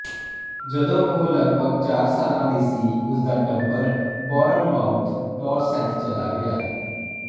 ਜਦੋਂ ਉਹ ਲਗਭਗ ਚਾਰ ਸਾਲਾਂ ਦੀ ਸੀ ਉਸ ਦਾ ਟੱਬਰ ਬੌਰਨਮਾਊਥ ਡੌਰਸੈਟ ਚਲਾ ਗਿਆ